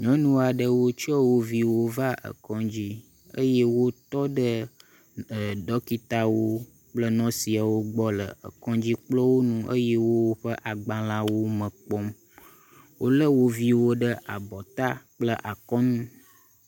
Nyɔnu aɖewo tsɔ woviwo va ekɔdzi eye wotɔ ɖe ɖɔkitawo kple nursiawo gbɔ le ekɔdzikplɔwo ŋu eye wo woƒe agbalẽa wo me kpom. Wole wo viwo ɖe abɔ ta kple akɔ nu.